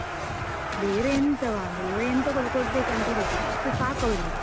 ಬೇರೆ ಎಂತವ? ಬೇರೆ ಎಂತ ಕೂಡ ಕೊಡ್ಬೇಕಂತಿಲ್ಲ, ಅಷ್ಟು ಸಾಕು ಅವಳಿಗೆ.